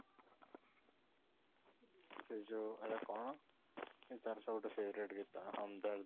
ସେ ଯୋଉ ମାନେ କ'ଣ ତାର ସେ ଗୋଟେ favourite ଗୀତ କ'ଣ